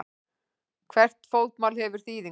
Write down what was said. Hvert fótmál hefur þýðingu.